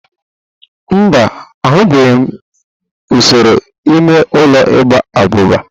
Mba, ahụbeghị m usoro ime ụlọ igba abụba.